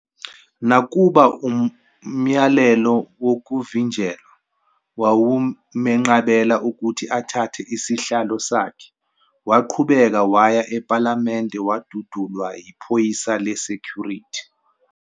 Nakuba umyalelo wokuvinjelwa wawumenqabela ukuthi athathe isihlalo sakhe, waqhubeka waya ephalamende wadudulwa yiphoyisa le-security.